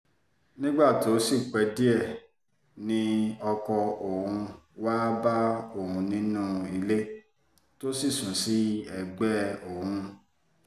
nígbà tó sì pẹ́ díẹ̀ ni ọkọ òun wáá bá òun nínú ilé tó sì sùn sí ẹgbẹ́ òun